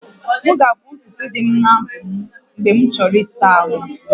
M ga-akpụ ntutu dị n'abụ m mgbe m chọrọ ịsa ahụ